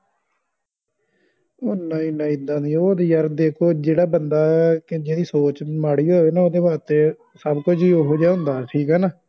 ਉਹ ਨਹੀਂ ਨਹੀਂ ਏਦਾਂ ਨਹੀਂ ਉਹ ਤੇ ਯਾਰ ਦੇਖੋ ਜਿਹੜਾ ਬੰਦਾ ਦਾ ਜਿੰਦੀ ਸੋਚ ਮਾੜੀ ਹੋਵੇ ਉਹਦੇ ਵਾਸਤੇ ਸਬ ਕੁੱਜ ਈ ਓਹੋ ਜੇਹਾ ਹੁੰਦਾ ਵਾ ਠੀਕ ਆ ਨਾ